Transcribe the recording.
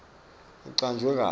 icanjwe kabi